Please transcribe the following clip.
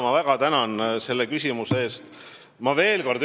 Ma väga tänan selle küsimuse eest!